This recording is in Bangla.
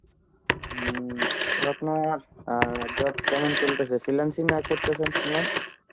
হম তো আপনার অ্যাঁ job কেমন চলতাছে, freelance নায় করতেছেন শুনলাম?